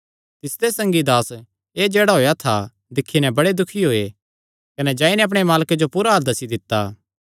तिसदे संगी दास एह़ जेह्ड़ा होएया था दिक्खी नैं बड़े दुखी होये कने जाई नैं अपणे मालके जो पूरा हाल दस्सी दित्ता